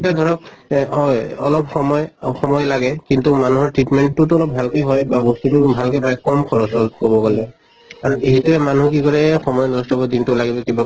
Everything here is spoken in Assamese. তা ধৰক এহ হয় অলপ সময় সময় লাগে, কিন্তু মানুহৰ treatment টো অলপ healthy হয় বা বস্তুটো ভালকে পায় কম খৰচত কʼব গʼলে। আৰু এহেঁতে মানুহে কি কৰে সময় নষ্ট কৰি দিন টো লাগি থাকিব।